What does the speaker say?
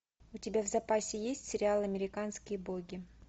у тебя в запасе есть сериал американские боги